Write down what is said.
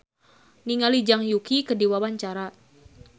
Cika Kartika olohok ningali Zhang Yuqi keur diwawancara